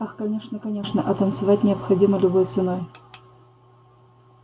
ах конечно конечно а танцевать необходимо любой ценой